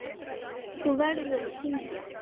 Þú verður að syngja.